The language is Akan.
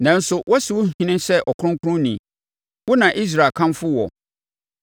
Nanso, wɔasi wo ɔhene sɛ Ɔkronkronni; wo na Israel kamfo woɔ.